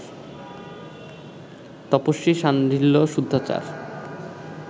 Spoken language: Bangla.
তপস্বী শাণ্ডিল্য শুদ্ধাচার